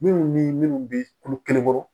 Minnu ni minnu bɛ kulo kelen kɔrɔ